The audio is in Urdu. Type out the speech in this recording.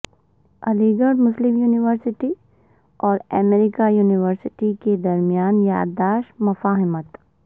علیگڑھ مسلم یونیورسٹی اور امریکی یونیورسٹی کے درمیان یادداشت مفاہمت